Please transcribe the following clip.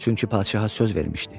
Çünki padişaha söz vermişdi.